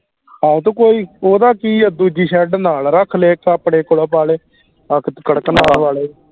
ਆਹੋ ਤੇ ਕੋਈ ਓਹਦਾ ਕੀ ਆ ਦੂਜੀ shed ਨਾਲ ਰੱਖ ਲੇ ਇਕ ਆਪਣੇ ਕੋਲੋਂ ਪਾ ਲੇ ਕਰ ਆਹ ਕੇ ਕਰਕਨਾਥ ਪਾ ਲੈ